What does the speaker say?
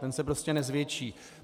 Ten se prostě nezvětší.